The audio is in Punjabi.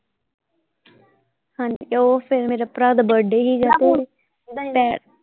ਹਾਂਜੀ ਓਹ ਫੇਰ ਮੇਰੇ ਭਰਾ ਦਾ birthday ਸੀਗਾ ਤੇ ਪੈੜ।